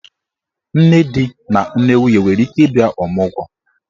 Nne di na nne nwunye nwere ike ịbịa ọmụgwọ.